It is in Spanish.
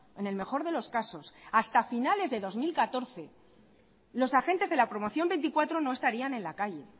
en el mejor de los casos hasta finales del dos mil catorce los agentes de la promoción veinticuatro no estarían en la calle